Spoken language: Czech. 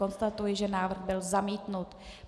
Konstatuji, že návrh byl zamítnut.